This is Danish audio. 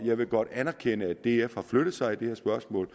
jeg vil godt anerkende at df har flyttet sig i det her spørgsmål